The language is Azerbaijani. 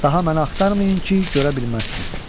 Daha məni axtarmayın ki, görə bilməzsiniz.